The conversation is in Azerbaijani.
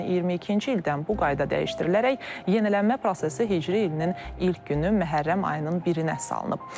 Lakin 2022-ci ildən bu qayda dəyişdirilərək yenilənmə prosesi Hicri ilinin ilk günü Məhərrəm ayının birinə salınıb.